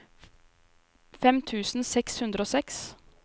fem tusen seks hundre og seks